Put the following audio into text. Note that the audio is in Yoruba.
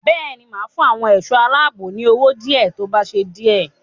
Bẹ́ẹ̀ ni, máa fún àwọn ẹ̀ṣọ́ aláàbò ní owó díẹ̀ tó bá ṣe díè.